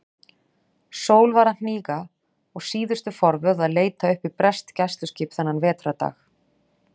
Sól var að hníga og síðustu forvöð að leita uppi breskt gæsluskip þennan vetrardag.